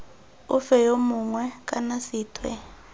ofe yo mongwe kana sethwe